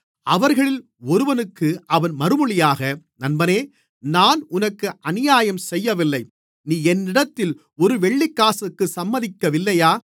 அவர்களில் ஒருவனுக்கு அவன் மறுமொழியாக நண்பனே நான் உனக்கு அநியாயம் செய்யவில்லை நீ என்னிடத்தில் ஒரு வெள்ளிக்காசுக்குச் சம்மதிக்கவில்லையா